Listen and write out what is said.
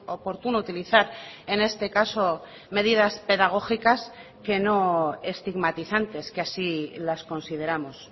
oportuno utilizar en este caso medidas pedagógicas que no estigmatizantes que así las consideramos